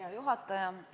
Hea juhataja!